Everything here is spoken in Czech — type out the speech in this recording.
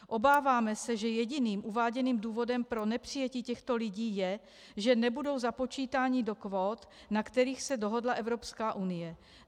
Obáváme se, že jediným uváděným důvodem pro nepřijetí těchto lidí je, že nebudou započítáni do kvót, na kterých se dohodla Evropská unie.